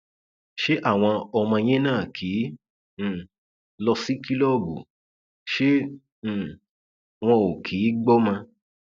ṣé àwọn ọmọ yín náà kì um í lọ sí kìlọọbù ṣe um wọn ò kì í gbọmọ